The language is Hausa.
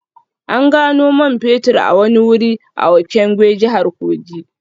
An gano man fetur a wani wuri a Okengwe, jihar Kogi